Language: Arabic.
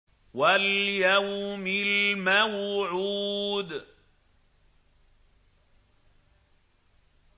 وَالْيَوْمِ الْمَوْعُودِ